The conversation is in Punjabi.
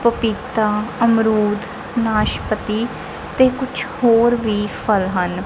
ਪਪੀਤਾ ਅਮਰੂਦ ਨਾਸ਼ਪਤੀ ਤੇ ਕੁਛ ਹੋਰ ਵੀ ਫਲ ਹਨ।